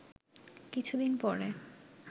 কিছুদিন পরে